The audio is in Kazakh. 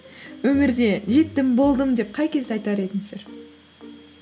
өмірде жеттім болдым деп қай кезде айтар едіңіздер